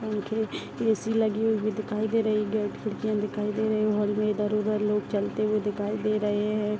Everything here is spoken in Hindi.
पंखे ए.सी. लगी हुई भी दिखाई दे रही है गेट खिड़कियाँ दिखाई दे रही है हॉल में इधर-उधर लोग चलते हुए दिखाई दे रहे हैं।